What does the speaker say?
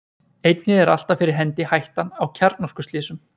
Einnig er alltaf fyrir hendi hættan á kjarnorkuslysum.